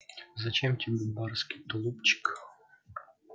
зачем тебе барский тулупчик